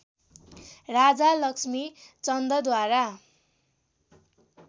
Raja Lakshmi चन्दद्वारा